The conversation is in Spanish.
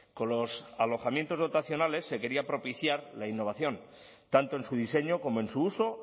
con los alojamientos dotacionales se quería propiciar la innovación tanto en su diseño como en su uso